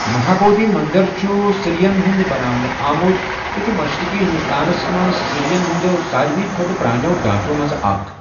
مہابودھی مندر چھُ سیرٮ۪ن ہُنٛد بناونہٕ آمُت تہٕ چھُ مشرقی ہندوستانَس منزٛ سیرٮ۪ن ہندیو ساروِی کھوتہٕ پرٛانٮ۪و ڈانٛچو مَنٛز اکھ۔